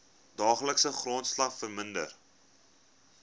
daaglikse grondslag verminder